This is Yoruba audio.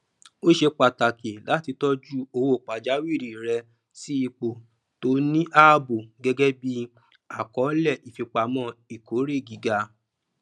ó ṣe pàtàkì láti tọju owó pajàwìrí rẹ sí ipo tó ní ààbò gẹgẹ bí àkọọlẹ ìfipamọ ìkórè gíga